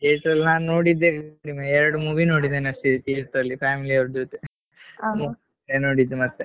Theatre ಅಲ್ಲೇ ನಾನ್ ನೋಡಿದ್ದೇ ಎರಡ್ movie ನೋಡಿದ್ದೇನೆ ಅಷ್ಟೇ theatre ಅಲ್ಲಿ family ಅವ್ರ ಜೊತೆ ನೋಡಿದ್ದು ಮತ್ತೆ.